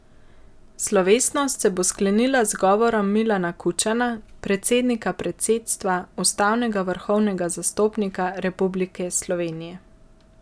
Slovesnost se bo sklenila z govorom Milana Kučana, predsednika predsedstva, ustavnega vrhovnega zastopnika Republike Slovenije.